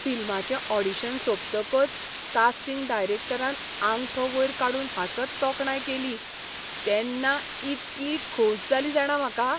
फिल्माचे audition सोंपतकच casting डायरेक्टरान आंगठो वयर काडून हांसत तोखणाय केली तेन्ना इतली खोस जाली जाणा म्हाका.